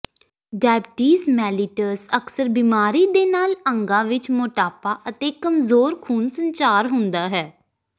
diabetes mellitus ਅਕਸਰ ਬਿਮਾਰੀ ਦੇ ਨਾਲ ਅੰਗਾਂ ਵਿੱਚ ਮੋਟਾਪਾ ਅਤੇ ਕਮਜ਼ੋਰ ਖੂਨ ਸੰਚਾਰ ਹੁੰਦਾ ਹੈ